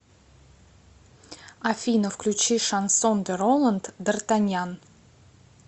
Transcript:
афина включи шансон де роланд дартаньян